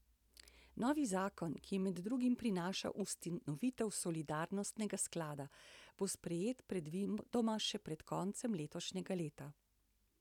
Novi zakon, ki med drugim prinaša ustanovitev solidarnostnega sklada, bo sprejet predvidoma še pred koncem letošnjega leta.